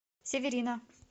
северина